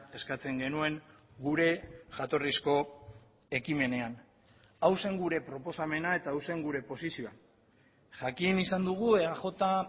eskatzen genuen gure jatorrizko ekimenean hau zen gure proposamena eta hau zen gure posizioa jakin izan dugu eaj